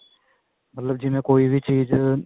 ਮਤਲਬ ਜਿਵੇਂ ਕੋਈ ਵੀ ਚੀਜ